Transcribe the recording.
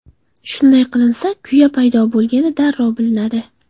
Shunday qilinsa, kuya paydo bo‘lgani darrov bilinadi.